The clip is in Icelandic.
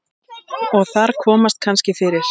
Og þar komast kannski fyrir